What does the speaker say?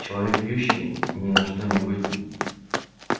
человек пьющий ни на что не годен